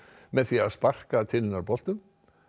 með því að sparka til hennar boltum